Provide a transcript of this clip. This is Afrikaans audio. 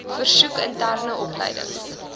versoek interne opleidings